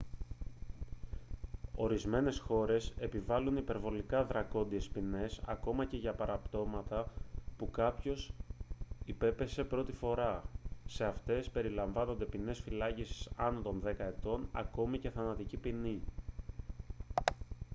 ορισμένες χώρες επιβάλλουν υπερβολικά δρακόντειες ποινές ακόμα και για παραπτώματα που κάποιος υπέπεσε πρώτη φορά σε αυτές περιλαμβάνονται ποινές φυλάκισης άνω των δέκα ετών ακόμα και θανατική ποινή